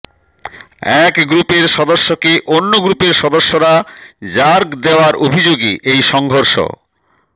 এক গ্রুপের সদস্যকে অন্য গ্রুপের সদস্যরা র্যাগ দেওয়ার অভিযোগে এই সংঘর্ষ